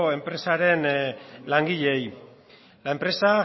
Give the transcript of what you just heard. enpresaren langileei la empresa